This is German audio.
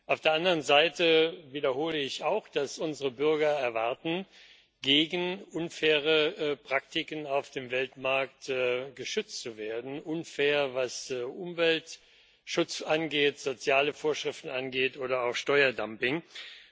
Auf der anderen Seite wiederhole ich auch, dass unsere Bürger erwarten, gegen unfaire Praktiken auf dem Weltmarkt geschützt zu werden unfair, was Umweltschutz, soziale Vorschriften oder auch Steuerdumping angeht.